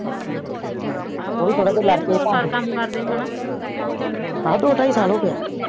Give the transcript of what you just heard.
ਹਾ ਆਹੋ ਓਹੀ ਥੋੜਾ ਜਾ ਲਾਰਡ ਕੇ ਕਾਮ ਕਰਦੇ ਹਨਾ ਆਹੋ ਦੋ ਟਾਈ ਸਾਲ ਹੋ ਗਾਏ